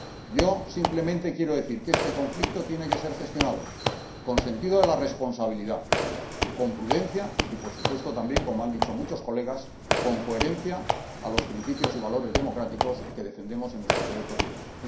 Yo simplemente quiero decir que este conflicto tiene que ser gestionado con sentido de la responsabilidad, con prudencia y, por supuesto, también, como han dicho muchos diputados, con coherencia con los principios y valores democráticos que defendemos en nuestro proyecto político.